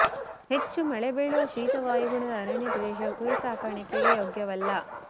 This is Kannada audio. ಹೆಚ್ಚು ಮಳೆ ಬೀಳುವ ಶೀತ ವಾಯುಗುಣದ ಅರಣ್ಯ ಪ್ರದೇಶವು ಕುರಿ ಸಾಕಾಣೆಕೆಗೆ ಯೋಗ್ಯವಲ್ಲ